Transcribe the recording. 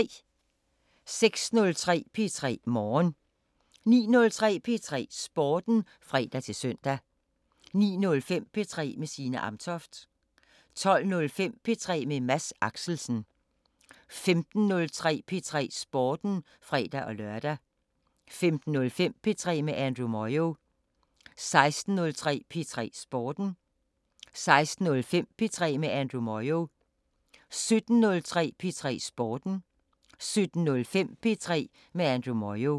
06:03: P3 Morgen 09:03: P3 Sporten (fre-søn) 09:05: P3 med Signe Amtoft 12:05: P3 med Mads Axelsen 15:03: P3 Sporten (fre-lør) 15:05: P3 med Andrew Moyo 16:03: P3 Sporten 16:05: P3 med Andrew Moyo 17:03: P3 Sporten 17:05: P3 med Andrew Moyo